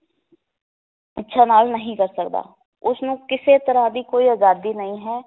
ਇੱਛਾ ਨਾਲ ਨਹੀ ਕਰ ਸਕਦਾ ਉਸਨੂੰ ਕਿਸੇ ਤਰਾਂ ਦੀ ਕੋਈ ਅਜਾਦੀ ਨਹੀਂ ਹੈ